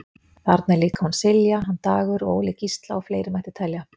Þarna er líka hún Silja, hann Dagur og Óli Gísla og fleiri mætti telja.